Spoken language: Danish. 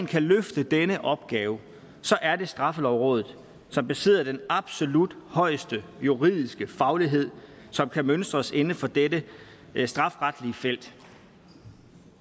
kan løfte denne opgave så er det straffelovrådet som besidder den absolut højeste juridiske faglighed som kan mønstres inden for dette strafferetlige felt